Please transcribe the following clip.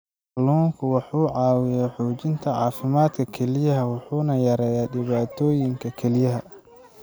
Kalluunku wuxuu caawiyaa xoojinta caafimaadka kelyaha wuxuuna yareeyaa dhibaatooyinka kelyaha.